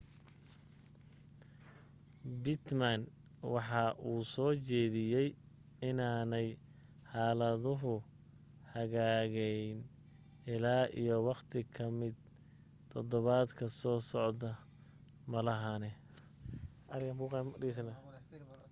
pittman waxa uu soo jeediyay inaanay xaaladuhu hagaagayn illaa iyo waqti kamid todobaadka soo socda maahane